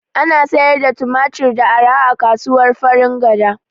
Ana sayar da Tumatir da arha a kasuwar Farin gada